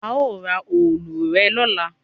A o ra òòlù rẹ lọla